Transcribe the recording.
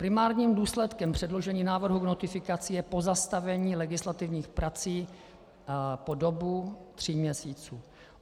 Primárním důsledkem předložení návrhu k notifikaci je pozastavení legislativních prací po dobu tří měsíců.